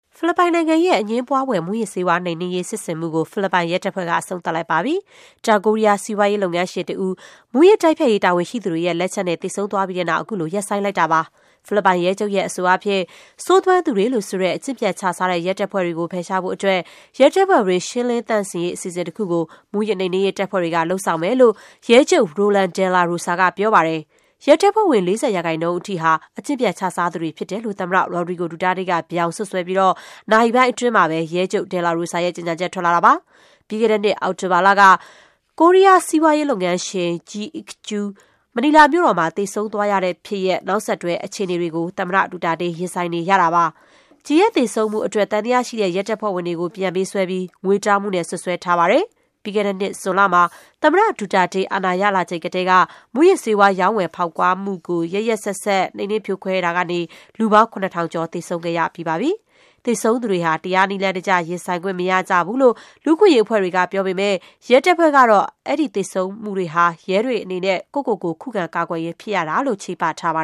ဖိလစ်ပိုင်နိုင်ငံရဲ့ အငြင်းပွားဖွယ် မူးယစ်ဆေးဝါး နှိမ်နင်းရေးစစ်ဆင်မှုကို ဖိလစ်ပိုင်ရဲတပ်ဖွဲ့က အဆုံးသတ်လိုက်ပါပြီ။ တောင်ကိုရီး ယား စီးပွားရေးလုပ်ငန်းရှင်တဦး မူးယစ်တိုက်ဖျက်ရေး တာဝန်ရှိသူတွေရဲ့လက်ချက်နဲ့ သေဆုံးသွားပြီးတဲ့နောက် အခုလို ရပ်ဆိုင်း လိုက်တာပါ။ ဖိလစ်ပိုင်ရဲချုပ်ရဲ့အဆိုအားဖြင့် ဆိုးသွမ်းသူတွေလို့ဆိုတဲ့ အကျင့်ပျက်ခြစားတဲ့ ရဲတပ်ဖွဲ့တွေကို ဖယ်ရှားဖို့အတွက် ရဲတပ်ဖွဲ့တွင်း ရှင်းလင်းသန့်စင်ရေး အစီအစဉ်တခုကို မူးယစ်နှိမ်နင်းရေးတပ်ဖွဲ့က လုပ်ဆောင်မယ်လို့ ရဲချုပ် Roland Dela Rosa က ပြောပါတယ်။ ရဲတပ်ဖွဲ့ဝင် ၄၀% ထိဟာ အကျင့်ပျက်ခြစားသူတွေဖြစ်တယ်လို့ သမ္မတ Rodrigo Duterte က ပြောင် စွပ်စွဲပြီး နာရီပိုင်းအတွင်း မှာပဲ ရဲချုပ် Dela Rosa ရဲ့ ကြေညာချက်ထွက်လာတာပါ။ ပြီးခဲ့တဲ့နှစ် အောက်တိုဘာလက ကိုရီးယားစီးပွားရေးလုပ်ငန်းရှင် Jee Ick-joo မနီလာမြို့တော်မှာ သေဆုံးသွားရတဲ့ဖြစ်ရပ် နောက်ဆက်တွဲအခြေအနေတွေကို သမ္မတဒူတာတေး ရင်ဆိုင်နေရတာပါ။ Jee သေဆုံးမှုအတွက် သံသယရှိတဲ့ ရဲတပ်ဖွဲ့ဝင်တွေကို ပြန်ပေးဆွဲပြီး ငွေတောင်းမှုနဲ့ စွပ်စွဲထားပါတယ်။ ပြီးခဲ့တဲ့နှစ် ဇွန်လမှာ သမ္မတ ဒူတာတေး အာဏာရလာချိန်ကတည်းက မူးယစ်ဆေးဝါး ရောင်းဝယ်ဖောက်ကားမှုကို ရက်ရက်စက်စက် နှိမ်နင်းဖြိုခွဲတာကနေ လူပေါင်း ၇ ထောင်ကျော် သေဆုံးရပြီးပါပြီ။ သေဆုံးသူတွေဟာ တရားနည်းလမ်းတကျ ရင်ဆိုင် ခွင့်မရကြဘူးလို့ လူ့အခွင့်အရေးအဖွဲ့တွေကပြောပေမဲ့ ရဲတပ်ဖွဲ့ကတော့ အဲဒီသေဆုံးမှုတွေဟာ ရဲတွေအနေနဲ့ ကိုယ့်ကိုယ်ကို ခုခံကာကွယ်ရင်း ဖြစ်ရတာလို့ ချေပထားပါ